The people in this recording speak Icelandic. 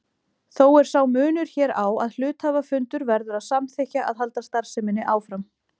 Þó er sá munur hér á að hluthafafundur verður að samþykkja að halda starfseminni áfram.